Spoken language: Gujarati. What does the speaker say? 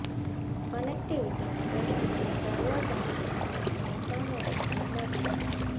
કનેકિટવિટીના પ્રશ્નો અને સર્વર ડાઉનના પ્રશ્નોની સામે રક્ષણ મળશે